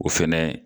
O fɛnɛ